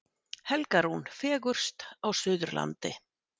Helga Rún fegurst á Suðurlandi